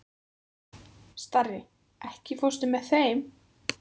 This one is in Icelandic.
Starri, ekki fórstu með þeim?